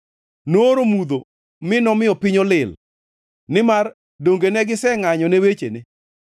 Nooro mudho mi nomiyo piny olil nimar donge ne gisengʼanyo ne wechene?